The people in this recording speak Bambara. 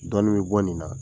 Dɔɔn bɛ bɔ nin na